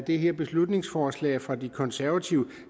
det her beslutningsforslag fra de konservative